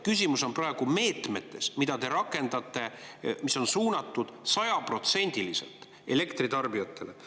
Küsimus on praegu meetmetes, mida te rakendate, mis on suunatud sajaprotsendiliselt elektritarbijatele.